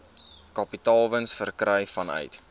kapitaalwins verkry vanuit